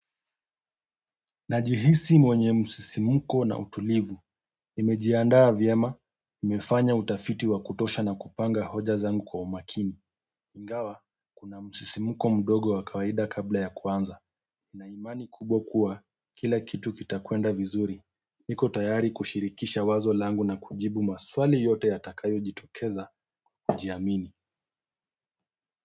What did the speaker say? Najihisi mwenye msisimuko na utulivu, imejiandaa vyema, nimefanya utafiti wa kutosha na kupanga hoja zangu kwa umakini. Ingawa, kuna msisimuko mdogo wa kawaida kabla ya kuanza. Na imani kubwa kuwa, kila kitu kitakwenda vizuri, niko tayari kushirikisha wazo langu na kujibu maswali yote yatakayo jitokeza, kujiamini.